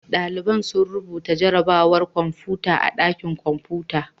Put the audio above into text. Ɗalibai sun rubuta jarrabawar kwamfuta a ɗakin kwamfuta.